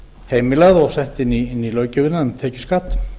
heimilað og sett inn í löggjöfina um tekjuskatt